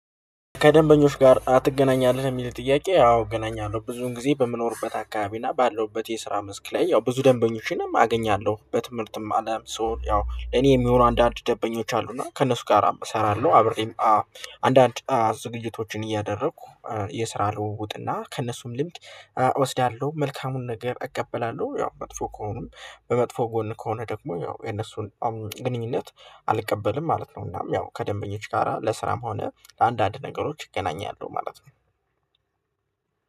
ከደንበኞች ጋር አ ትገናኛለህ? የሚል ጥያቄ አዎ እገናኛለሁ ብዙን ጊዜ በምኖርበት አካባቢ እና ባለውበት የስራ መስክ ላይ ያው ብዙ ደንበኞችንም አገኛለሁ በትምህርትም አለም ሶ ያው እኔ የሚሆኑ አንዳንድ ደንበኞች አሉና ከእነሱ ጋር እሰራለሁ አብረኝ አንዳንድ ዝግጅቶችን እያደረኩ የስራ ልውውጥና ከእነሱም ልምድ እወስዳለሁ መልካሙን ነገር እቀበላለሁ ያው መጥፎ ከሆኑም በመጥፎ ጎን ከሆነ ደግሞ ያው የነሱን ግንኙነት አልቀበልም ማለት ነው። እናም ያው ከደንበኞች ጋራ ለስራም ሆነ ለአንዳንድ ነገሮች ይገናኛሉ ማለት ነው።